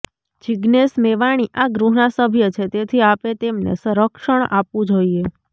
જીજ્ઞેસ મેવાણી આ ગૃહના સભ્ય છે તેથી આપે તેમને રક્ષણ આપવુ જોઈએ